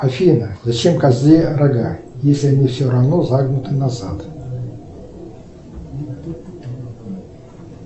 афина зачем козе рога если они все равно загнуты назад